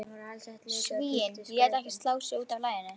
Svíinn lét ekki slá sig út af laginu.